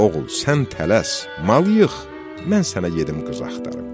Oğul, sən tələs, mal yığ, mən sənə gedib qız axtarım.